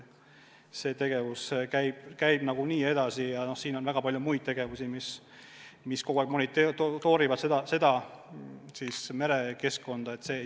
See tegevus käib edasi, on väga palju toiminguid, mille käigus kogu aeg merekeskkonda monitooritakse.